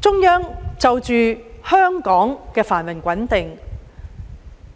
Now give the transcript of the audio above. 中央就着香港的繁榮穩定，